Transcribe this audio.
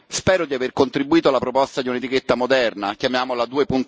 Spero di aver contribuito alla proposta di un'etichetta moderna, chiamiamola